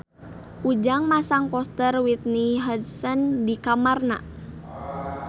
Ujang masang poster Whitney Houston di kamarna